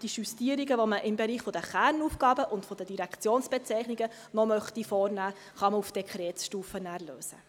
Die Justierungen, die man im Bereich der Kernaufgaben und der Direktionsbezeichnung noch vornehmen möchte, kann man auf Dekretsstufe vornehmen.